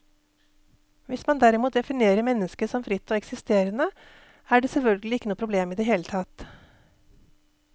Hvis man derimot definerer mennesket som fritt og eksisterende, er det selvfølgelig ikke noe problem i det hele tatt.